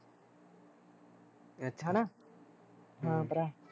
ਹਾਂ ਭਰਾ